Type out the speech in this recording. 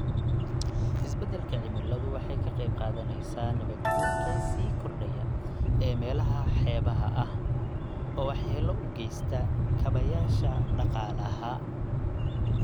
Isbeddelka cimiladu waxay ka qayb qaadanaysaa nabaad guurka sii kordhaya ee meelaha xeebaha ah, oo waxyeelo u geysta kaabayaasha dhaqaalaha.